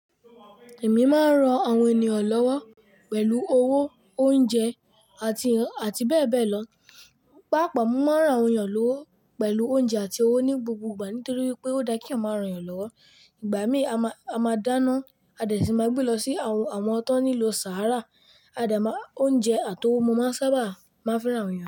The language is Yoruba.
Èmi máa ń ran àwọn ènìyàn lọ́wọ́ pẹ̀lú owó, oúnjẹ àti, àti bẹ́ẹ̀ bẹ́ẹ̀ lọ. Pápọ̀ mo máa ń ran àwọn ènìyàn lọ́wọ́ pẹ̀lú oúnjẹ àti owó ní gbogbo ìgbà nítorí pé ó dá kí eyan máa ràn eyàn lọ́wọ́. Ìgbà mí ì a ma a máa dáná, a dẹ̀ tun máa gbé lọ sí àwọn, àwọn tán nílo Saara, a de máa oúnjẹ àti owó mo máa sábà máa ń fẹ́ran àwọn ènìyàn.